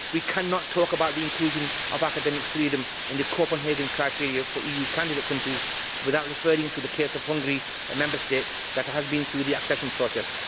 We cannot talk about the inclusion of academic freedom in the Copenhagen criteria for EU candidate countries without referring to the case of Hungary, a Member State that has been through the accession process.